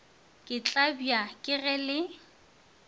ke tlabja ke ge le